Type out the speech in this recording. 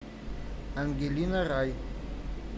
ангелина рай